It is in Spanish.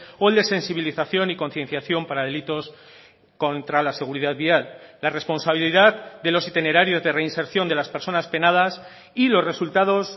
o el de sensibilización y concienciación para delitos contra la seguridad vial la responsabilidad de los itinerarios de reinserción de las personas penadas y los resultados